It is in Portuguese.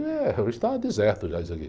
Eh, hoje está deserto já isso aqui.